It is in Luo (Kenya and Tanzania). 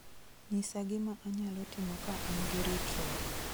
nyisa gima anyalo timo ka an gi ritruok